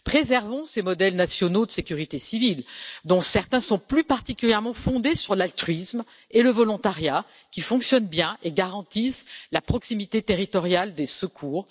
Préservons ces modèles nationaux de sécurité civile, dont certains sont plus particulièrement fondés sur l'altruisme et le volontariat, qui fonctionnent bien et garantissent la proximité territoriale des secours.